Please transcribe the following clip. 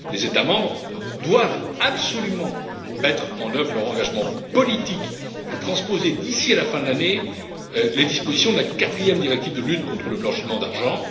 Les États membres doivent absolument concrétiser leur engagement politique et transposer d'ici à la fin de l'année les dispositions de la quatrième directive de lutte contre le blanchiment d'argent.